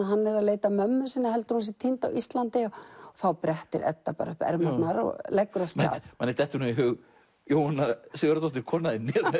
hann er að leita að mömmu sinni heldur að hún sé týnd á Íslandi þá brettir Edda bara upp ermarnar og leggur af stað manni dettur nú í hug Jóhanna Sigurðardóttir konan þín